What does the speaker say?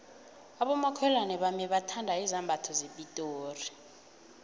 abomakhelwana bami bathanda izambatho zepitori